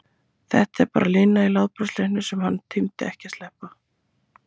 Þetta var bara lína í látbragðsleiknum sem hann tímdi ekki að sleppa.